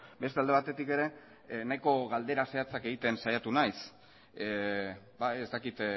beste alde batetik ere nahiko galdera zehatzak egiten saiatu naiz ez dakit